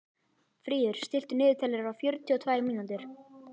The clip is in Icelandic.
Fríður, stilltu niðurteljara á fjörutíu og tvær mínútur.